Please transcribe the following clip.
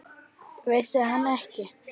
Vissi hann ekki?